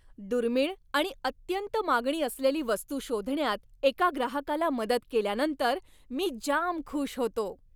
दुर्मिळ आणि अत्यंत मागणी असलेली वस्तू शोधण्यात एका ग्राहकाला मदत केल्यानंतर मी जाम खुश होतो.